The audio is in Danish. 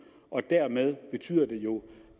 og dermed betyder det jo